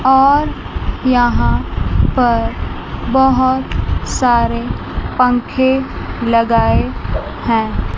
और यहाॅं पर बहोत सारे पंखे लगाए हैं।